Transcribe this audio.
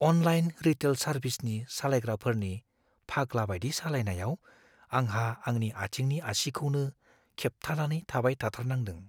Online retail सारभिसनि सालायग्राफोरनि फाग्लाबायदि सालायनायाव आंहा आंनि आथिंनि आसिखौनो खेबथाबनानै थाबाय थाथारनांदों।